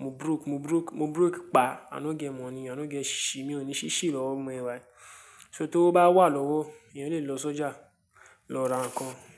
mo broke, mo broke, mo broke pa, i no get money, i no get shí shi, mi ò ní ṣhíṣhí lọ́wọ́ bí mo ṣe wá yí. So tówó bá wà lọ́wọ́, èèyàn lè lọ sọ́jà lọ ra nǹkan.